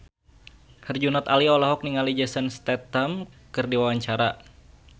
Herjunot Ali olohok ningali Jason Statham keur diwawancara